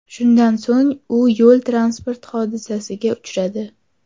Shundan so‘ng u yo‘l-transport hodisasiga uchradi.